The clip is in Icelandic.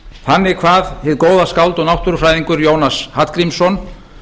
þannig kvað hið góða skáld og náttúrufræðingur jónas hallgrímsson